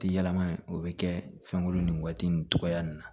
Ti yɛlɛma in o bɛ kɛ fɛn kolon ni waati nin cogoya nin na